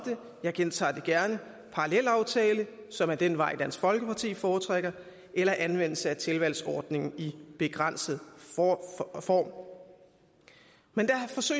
jeg gentager det gerne parallelaftale som er den vej dansk folkeparti foretrækker eller anvendelse af en tilvalgsordning i begrænset form men